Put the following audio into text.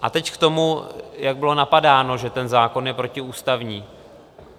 A teď k tomu, jak bylo napadáno, že ten zákon je protiústavní.